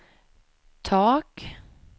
tak